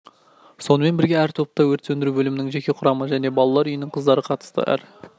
сонымен бірге әр топта өрт сөндіру бөлімінің жеке құрамы мен балалр үйінің қыздары қатысты әр